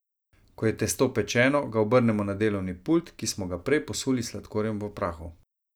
Ko je testo pečeno, ga obrnemo na delovni pult, ki smo ga prej posuli s sladkorjem v prahu.